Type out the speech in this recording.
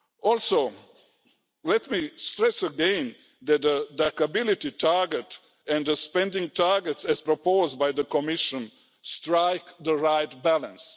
Also, let me stress again that the DAC ability target and the spending targets as proposed by the Commission strike the right balance.